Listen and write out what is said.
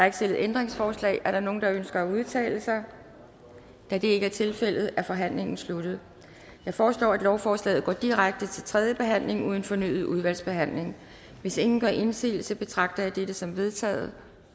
ikke stillet ændringsforslag er der nogen der ønsker at udtale sig da det ikke er tilfældet er forhandlingen sluttet jeg foreslår at lovforslaget går direkte til tredje behandling uden fornyet udvalgsbehandling hvis ingen gør indsigelse betragter jeg dette som vedtaget